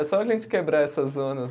É só a gente quebrar essas zonas.